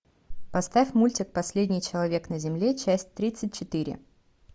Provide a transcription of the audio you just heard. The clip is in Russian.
поставь мультик последний человек на земле часть тридцать четыре